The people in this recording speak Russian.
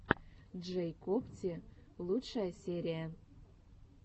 джэйкобти лучшая серия